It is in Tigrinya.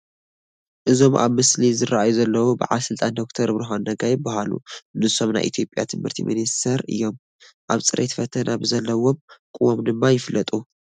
እዞም ኣብ ምስሊ ዝርአዩ ዘለዉ በዓል ስልጣን ዶክተር ብርሃኑ ነጋ ይበሃሉ፡፡ ንሶም ናይ ኢትዮጵያ ትምህርቲ ሚኒስትር ሚኒስተር እዮም፡፡ ኣብ ፅሬት ፈተና ብዘለዎም ቅዋም ድማ ይፍለጡ፡፡